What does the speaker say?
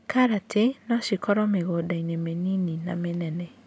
Karati nocikũrio mĩgũndainĩ mĩnini na mĩnene.